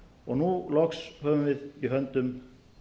og nú loks höfum við í höndum